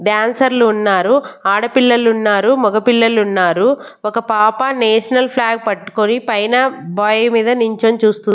డాన్సర్లు ఉన్నారు ఆడపిల్లలు ఉన్నారు మగ పిల్లలు ఉన్నారు ఒక పాప నేషనల్ ఫ్లాగ్ పట్టుకొని పైన బాయ్ మీద నుంచొని చూస్తూ--